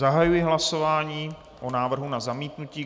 Zahajuji hlasování o návrhu na zamítnutí.